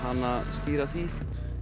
stýra því